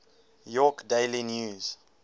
york daily news